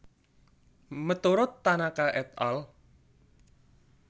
Meturut Tanaka et al